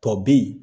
Tɔ bɛ ye